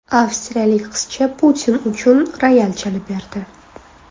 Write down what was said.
Avstriyalik qizcha Putin uchun royal chalib berdi.